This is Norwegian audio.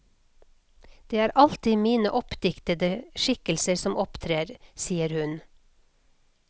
Det er alltid mine oppdiktede skikkelser som opptrer, sier hun.